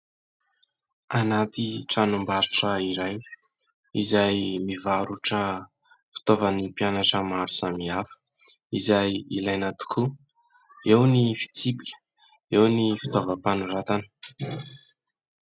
Anaty tranombarotra iray izay mivarotra fitaovan'ny mpianatra maro samihafa izay ilaina tokoa. Eo ny fitsipika, eo ny fitaovam-panoratana.